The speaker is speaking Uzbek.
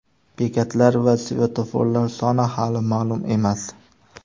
Bekatlar va svetoforlar soni hali ma’lum emas.